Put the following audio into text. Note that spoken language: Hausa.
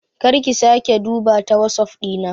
Kar ka/ki sake duba ta WhatsApp Dina.